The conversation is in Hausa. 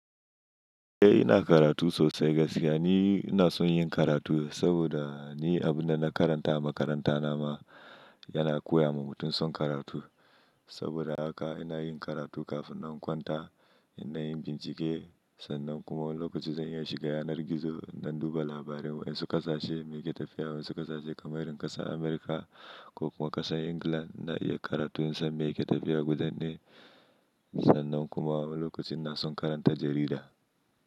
Eh ina karatu sosai gaskiya ni ina son yin karatu saboda ni abunda na karanta a makaranta nama yana koya wa mutum son karatu. Saboda haka ina yin karatu kafin in kwanta, ina dayi bincike sannan kuma wani lokacin zan iya shiga yanar gizo na duba labarin wasu ƙasashe meke tafiya wasu ƙasashe kamar irin ƙasar America ko kuma ƙasar England na iya karatu yanzu meke tafiya gudanai sannan kuma lokacin ina son karanta jarida.